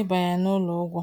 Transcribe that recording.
ibanye n’ụlọ ụgwọ.